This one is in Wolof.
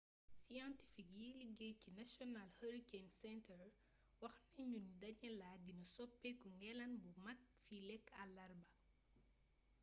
scientifique yiy liggéey ci national hurricane center wax nañu ni danielle dina sopeku ngelaane bu mag fileek àllarba